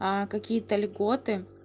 какие-то льготы